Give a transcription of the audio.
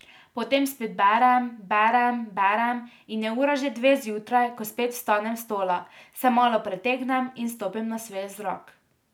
Potem spet berem, berem, berem in je ura že dve zjutraj, ko spet vstanem s stola, se malo pretegnem in stopim na svež zrak.